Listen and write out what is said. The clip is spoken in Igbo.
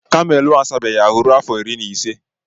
kamelu a asabeghị ahu ruo afọ iri na ise